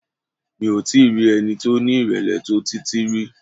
Mi ò tí i rí ẹni tí ó ní ìrèlè tó Títí rí.